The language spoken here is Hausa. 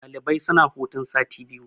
Ɗalibai suna hutun sati biyu.